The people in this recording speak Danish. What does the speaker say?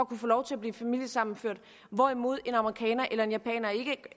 kunne få lov til at blive familiesammenført hvorimod en amerikaner eller en japaner ikke